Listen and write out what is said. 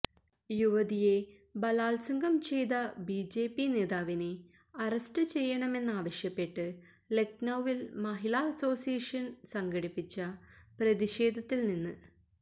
യുവതിയെ ബലാൽസംഗം ചെയ്ത ബിജെപി നേതാവിനെ അറസ്റ്റ് ചെയ്യണ മെന്നാവശ്യപ്പെട്ട് ലഖ്നൌവിൽ മഹിളാ അസോസിയേഷന് സംഘടിപ്പിച്ച പ്രതിഷേധത്തിൽ നിന്ന്